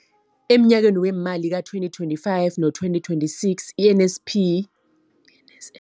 Emnyakeni weemali we-2025 no-2026, i-NSNP yabelwa iingidigidi ezi-5 703 zamaranda.